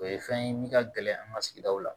O ye fɛn ye min ka gɛlɛn an ka sigidaw la